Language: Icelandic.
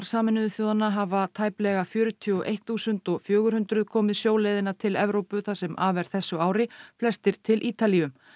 Sameinuðu þjóðanna hafa tæplega fjörutíu og eitt þúsund fjögur hundruð komið sjóleiðina til Evrópu það sem af er þessu ári flestir til Ítalíu